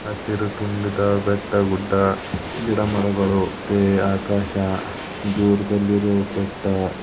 ಹಸಿರು ತುಂಬಿದ ಬೆಟ್ಟ ಗುಡ್ಡ ಗಿಡಮರಗಳು ಮತ್ತೆ ಆಕಾಶ--